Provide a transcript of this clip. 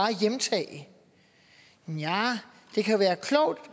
hjemtage ja det kan være klogt